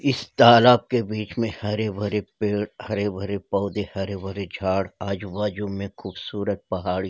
इस तालाब के बीच मे हरे-भरे पेड़ हरे-भरे पौधे हरे-भरे झाड़ आजू-बाजु में खूबसूरत पहाड़ --